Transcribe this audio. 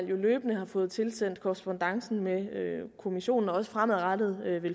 jo løbende fået tilsendt korrespondancen med kommissionen og vil også fremadrettet